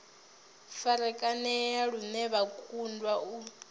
farakanea lune vha kundwa u